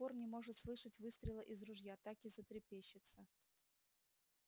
до сих пор не может слышать выстрела из ружья так и затрепещется